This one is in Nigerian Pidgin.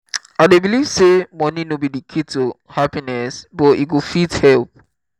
i dey believe say money no be di key to happiness but e go fit help.